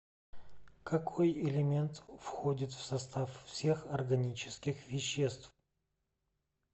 какой элемент входит в состав всех органических веществ